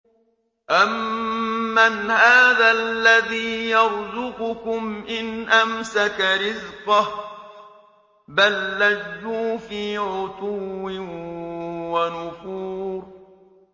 أَمَّنْ هَٰذَا الَّذِي يَرْزُقُكُمْ إِنْ أَمْسَكَ رِزْقَهُ ۚ بَل لَّجُّوا فِي عُتُوٍّ وَنُفُورٍ